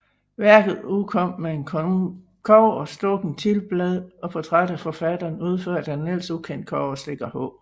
Værket udkom med et kobberstukkent titelblad og portræt af forfatteren udført af en ellers ukendt kobberstikker H